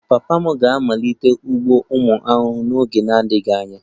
Papa m ga-amalite ugbo ụmụ ahụhụ n'oge na-adịghị anya